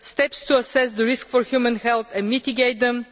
steps to assess the risk to human health and mitigate them